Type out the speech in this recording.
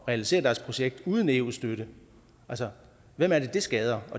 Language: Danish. realisere deres projekt uden eu støtte altså hvem er det det skader